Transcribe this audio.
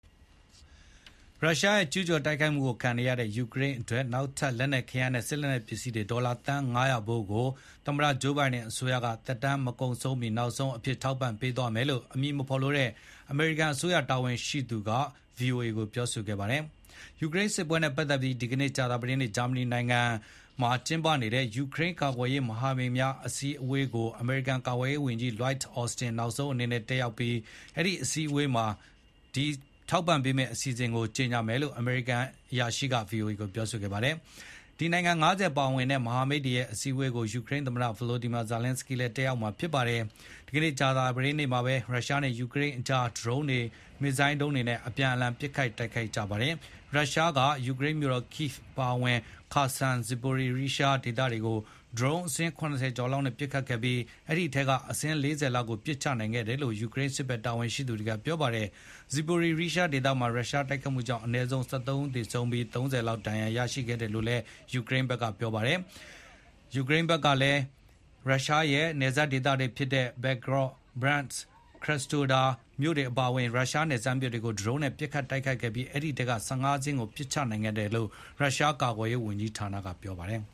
ရုရှားရဲ့ကျူးကျော်တိုက်ခိုက်မှုကိုခုခံနေရတဲ့ ယူကရိန်းအတွက် နောက်ထပ် လက်နက်ခဲယမ်းနဲ့ စစ် လက်နက်ပစ္စည်း ဒေါ်လာသန်း ၅၀၀ ဖိုး သမ္မတဂျိုးဘိုင်ဒင်အစိုးရသက်တမ်း မကုန်ဆုံးမီ နောက်ဆုံးအဖြစ် ထောက်ပံ့ပေးသွားမယ်လို့ အမည်မဖေါ်လိုတဲ့ အမေရိကန်အစိုးရတာဝန်ရှိသူက VOA ကိုပြောခဲ့ပါတယ်။ ယူကရိန်းစစ်ပွဲနဲ့ပတ်သက်ပြီး ဒီကနေ့ ကြာသပတေးနေ့ ဂျာမနီနိုင်ငံ Ramstein မှာကျင်းပနေတဲ့ ယူကရိန်းကာကွယ်ရေး မဟာမိတ်များအစည်းအဝေးကို အမေရိကန်ကာကွယ်ရေးဝန် Lloyd Austin နောက်ဆုံးအနေနဲ့ တက်ရောက်ပြီး အဲဒိအစည်းအဝေးမှာ ထုတ်ဖေါ်ကြေညာမယ်လို့ အမေရိကန် အရာရှိက VOA ကိုပြောခဲ့ပါတယ်။ ဒီနိုင်ငံ ၅၀ ပါဝင်တဲ့ မဟာမိတ်တွေရဲ့ အစည်းဝေးကို ယူကရိန်း သမ္မတ Volodmyr Zelenskyy လည်း တက်ရောက်မှာဖြစ်ပါတယ်။ ဒီကနေကြာသပတေးနေ့မှာပဲ ရုရှားနဲ့ယူကရိန်းကြား ဒရုန်းတွေ မစ်ဇိုင်းဒုံးတွေနဲ့အပြန်အလှန်ပစ် ခတ်တိုက်တိုက်ကြပါတယ်။ ရုရှားက ယူကရိန်းမြို့တော် Kyiv အပါအဝင် Kherson Zaporizhzhia ဒေသတွေကို ဒရုန်းအစင်း ၇၀ ကျော်လောက်နဲ့ပစ်ခတ်ခဲ့ပြီး အဲဒိအထဲက အစင်း ၄၀ ကို ပစ်ချနိုင်ခဲ့ တယ်လို့ ယူကရိန်းစစ်ဘက်တာဝန်ရှိသူတွေက ပြောပါတယ်။ Zaporizhzhia ဒေသမှာ ရုရှား တိုက်ခိုက်မှုကြောင့် အနည်းဆုံး ၁၃ ဦးသေဆုံးပြီး ၃၀ ကျော် ဒဏ်ရာရရှိခဲ့တယ်လို့လည်း ထုတ်ဖေါ်ပြောဆိုပါတယ်။ ယူကရိန်းဘက်ကလည်း Belgorod၊ Bryansk ၊ Krasnodar အပါအဝင် ရုရှားနယ်စပ်မြို့တွေကို ဒရုန်းတွေနဲ့ ပစ်ခတ်တိုက်ခိုက်ခဲ့ပြီး အဲဒိအထဲက ၁၅ စင်းကိုပစ်ချနိုင်ခဲ့တယ်လို့ ရုရှားကာကွယ်ရေး ဝန်ကြီးဌာနကပြောပါတယ်